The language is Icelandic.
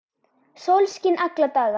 Sólskin alla daga.